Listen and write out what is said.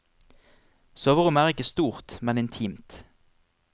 Soverommet er ikke stort, men intimt.